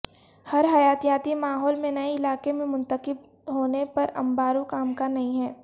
ہر حیاتیاتی ماحول میں نئے علاقے میں منتقل ہونے پر انباروں کا امکان نہیں ہے